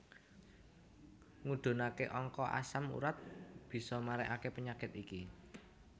Ngudhunake angka asam urat bisa marekake penyakit iki